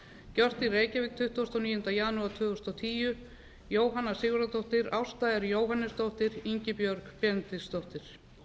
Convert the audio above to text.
gjört í reykjavík tuttugasta og níunda janúar tvö þúsund og tíu jóhanna sigurðardóttir ásta r jóhannesdóttir ingibjörg benediktsdóttir